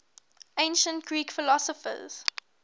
ancient greek philosophers